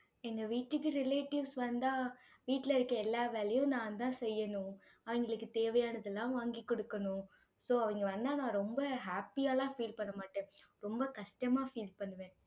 எங்க வீட்டுக்கு relatives வந்தா, வீட்டுல இருக்க எல்லா வேலையும் நான்தான் செய்யணும் அவங்களுக்கு தேவையானதெல்லாம் வாங்கிக் கொடுக்கணும். so அவங்க வந்தா, நான் ரொம்ப happy ஆ எல்லாம் feel பண்ண மாட்டேன். ரொம்ப கஷ்டமா feel பண்ணுவேன்.